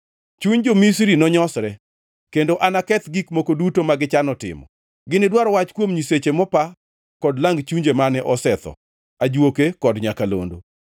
Chuny jo-Misri nonyosre kendo anaketh gik moko duto ma gichano timo; ginidwar wach kuom nyiseche mopa kod lang chunje mane osetho, ajuoke kod nyakalondo.